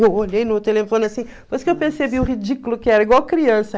Eu olhei no telefone assim, depois que eu percebi o ridículo que era, igual criança.